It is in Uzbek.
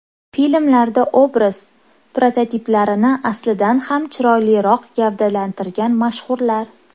Filmlarda obraz prototiplarini aslidan ham chiroyliroq gavdalantirgan mashhurlar.